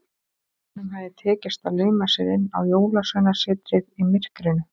Honum hafði tekist að lauma sér inn á Jólasveinasetrið í myrkrinu.